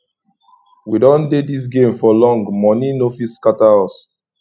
we don dey this game for long money no fit scatter us